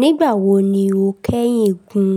Nígbà wo ni o kẹ́yìn gun